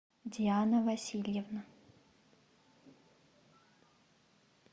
диана васильевна